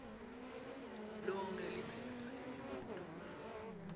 lonkhe liphepha lemibuto